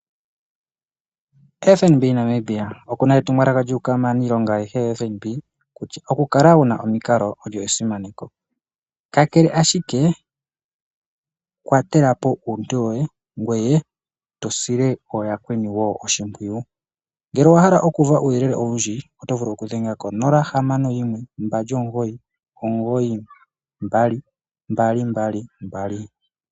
FNB Namibia okuna etumwalaka lyuka manilonga ayehe ya FNB kutya okukala wuna omiinkalo olyo esimano, kakele ashike kwatelapo uuntu woye ngweye tosile oyakweni wo oshipwiyu, ngele owahala okuva uyelele owundji otovulu okudhenga 0652992222.